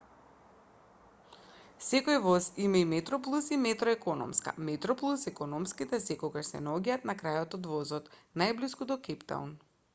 секој воз има и метроплус и метро економска метроплус економските секогаш се наоѓаат на крајот од возот најблиску до кејптаун